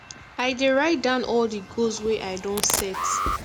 i dey write down all di goals wey i don set